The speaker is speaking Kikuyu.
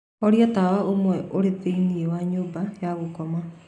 horia tawa ũmwe ũrĩ thĩinĩ wa nyũmba ya gũkoma